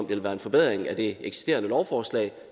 ville være en forbedring af det eksisterende lovforslag